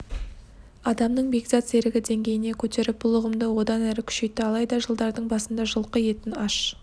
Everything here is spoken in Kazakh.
адамның бекзат серігі деңгейіне көтеріп бұл ұғымды одан әрі күшейтті алайда жылдардың басында жылқы етін аш